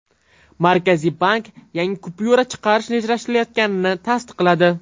Markaziy bank yangi kupyura chiqarish rejalashtirilayotganligini tasdiqladi.